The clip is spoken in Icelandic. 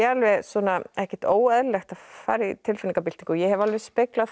ekkert óeðlilegt að fara í tilfinningabyltingu og ég hef alveg speglað það